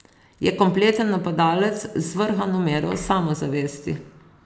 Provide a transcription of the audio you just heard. Je kompleten napadalec, z zvrhano mero samozavesti.